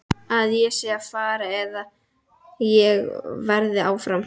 Að ég sé að fara eða að ég verði áfram?